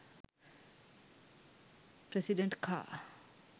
president car